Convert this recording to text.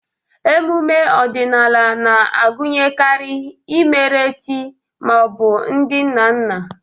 Emume ọdịnala na-agụnyekarị imere chi ma ọ bụ ndị nna nna.